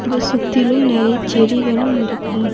இத சுத்திலும் நெறைய செடிகளும் இருக்கு.